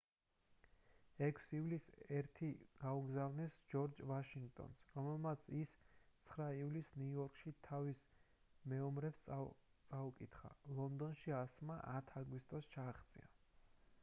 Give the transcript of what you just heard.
6 ივლისს ერთი გაუგზავნეს ჯორჯ ვაშინგტონს რომელმაც ის 9 ივლისს ნიუ-იორკში თავის მეომრებს წაუკითხა ლონდონში ასლმა 10 აგვისტოს ჩააღწია